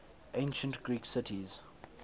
ancient greek cities